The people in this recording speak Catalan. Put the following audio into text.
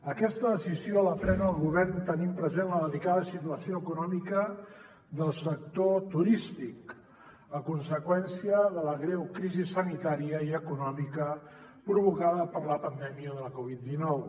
aquesta decisió la pren el govern tenint present la delicada situació econòmica del sector turístic a conseqüència de la greu crisi sanitària i econòmica provocada per la pandèmia de la covid dinou